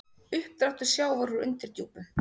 Uppdráttur sjávar úr undirdjúpum